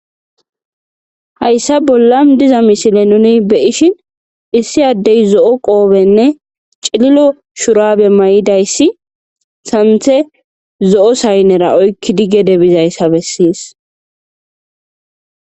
hayssa bolla diza misile nuni beyishin issi addey zo7o qoobenne cililo shurabe may7idayssi santhe zo7o saynnera oykki dige debizayssa bessis